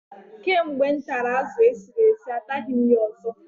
Kamgbe m tara azụ esiri esi, ataghị m ya ọzọ.